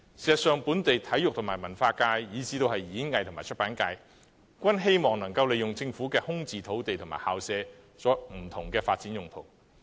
事實上，本地體育和文化界以至演藝和出版界，均希望利用空置政府土地和校舍作不同發展用途。